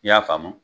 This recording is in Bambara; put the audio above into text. I y'a faamu